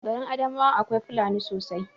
Garin adamawa akwai fulani sosai